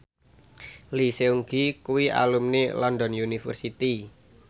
Lee Seung Gi kuwi alumni London University